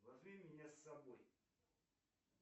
возьми меня с собой